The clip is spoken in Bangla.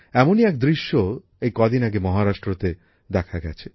এমনই এক দৃশ্য এই কদিন আগে মহারাষ্ট্রে দেখা গেছে